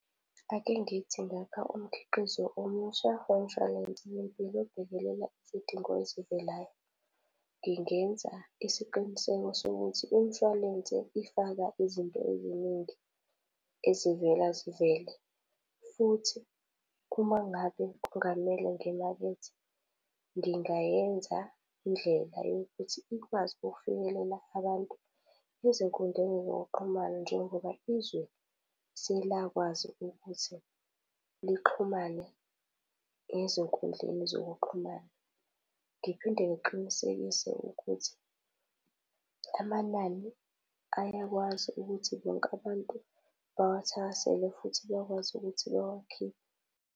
Ake ngithi ngakha umkhiqizo omusha womshwalensi wempilo obhekelela isidingo ezivelayo, ngingenza isiqiniseko sokuthi imishwalense ifaka izinto eziningi ezivela zivele. Futhi uma ngabe kungamele ngimakethe, ngingayenza indlela yokuthi ikwazi ukufinyelela abantu ezinkundleni zokuxhumana njengoba izwe selakwazi ukuthi lixhumane ezinkundleni zokuxhumana. Ngiphinde ngiqinisekise ukuthi amanani ayakwazi ukuthi bonke abantu bawathakasele futhi bekwazi ukuthi bewakhiphe.